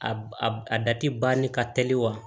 A a a da ti banni ka teli wa